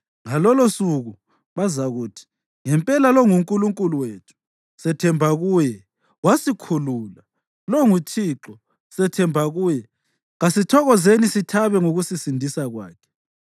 Ngalolosuku bazakuthi, “Ngempela lo nguNkulunkulu wethu; sethemba kuye, wasikhulula. Lo nguThixo, sethemba kuye; kasithokozeni sithabe ngokusisindisa kwakhe.”